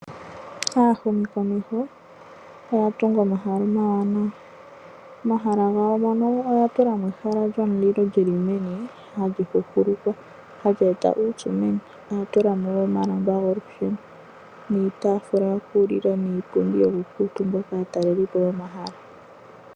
Aahumikomeho oya tunga omahala omawanawa, omahala mono oya tulamo ehala lyomulilo lyili meni halihuhulukwa halyeeta uupyu meni. Noya tulamo wo omalamba golusheno, niitafula yokulila niipundi yoku kuutumbwa kaatalelipo yomahala.